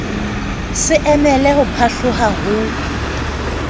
se emele ho phatloha ho